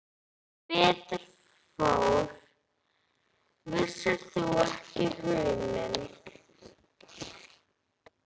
Sem betur fór vissirðu ekki hug minn.